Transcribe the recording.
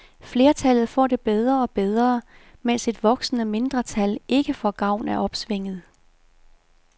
Flertallet får det bedre og bedre, mens et voksende mindretal ikke får gavn af opsvinget.